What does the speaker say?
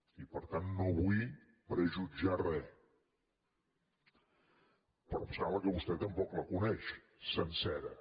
i per tant no vull prejutjar res però em sembla que vostè tampoc la coneix sencera